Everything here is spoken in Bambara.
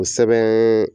O sɛbɛn